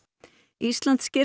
ísland sker